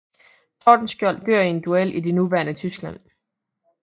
Tordenskiold dør i en duel i det nuværende Tyskland